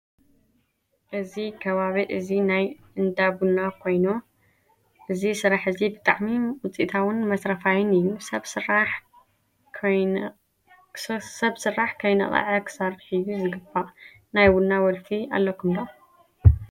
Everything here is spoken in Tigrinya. እዚ ከባቢ እዚ ናይ እነዳ ቡና ኮይኑ እዚ ስራሕ እዚ ብጣዕሚ ውፅኢታዊን መትረፋይን እዩ። ሰብ ስራሕ ከይነዓቀ ክሰርሕ እዩ ዝግባእዩ። ናይ ቡና ወልፊ ኣለኩም ዶ ?